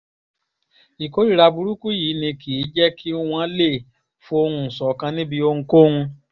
ìkórìíra burúkú yìí ni kì í jẹ́ kí wọ́n lè fohùn ṣọ̀kan níbi ohunkóhun